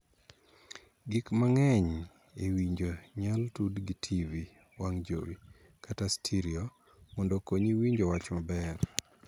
Gik makonyo e winjo inyal tud gi tivi (wang' jowi) kata 'stereo' mondo okonyi winjo wach maber.